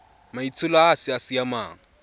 maitsholo a a sa siamang